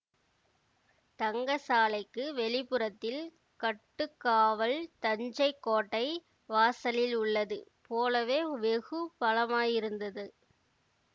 தங்கச்சாலைக்கு வெளிப்புறத்தில் கட்டு காவல் தஞ்சை கோட்டை வாசலில் உள்ளது போலவே வெகு பலமாயிருந்தது